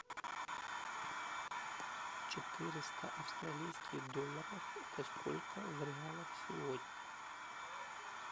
четыреста австралийских долларов это сколько в реалах сегодня